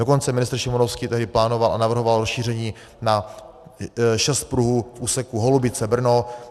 Dokonce ministr Šimonovský tehdy plánoval a navrhoval rozšíření na šest pruhů v úseku Holubice-Brno.